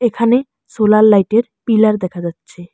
এখানে সোলার লাইটের পিলার দেখা যাচ্ছে।